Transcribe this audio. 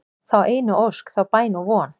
þá einu ósk, þá bæn og von